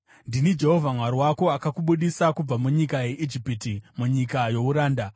“Ndini Jehovha Mwari wako akakubudisa kubva munyika yeIjipiti, munyika youranda.